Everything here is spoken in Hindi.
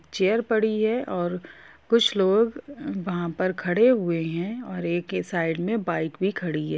चेयर पड़ी है और कुछ लोग वहाँ पर खड़े हुए है एक साइड में बाइक भी खड़ी है।